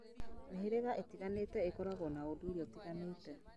Mĩhĩrĩga ĩtiganĩte ĩkoragwo na ũndũire ũtiganĩte